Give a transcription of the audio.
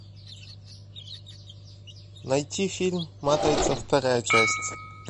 найти фильм матрица вторая часть